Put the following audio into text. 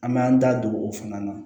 An m'an da don o fana na